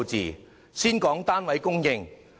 讓我先談談單位供應。